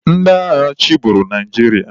Ndị agha chịburu Naijiria.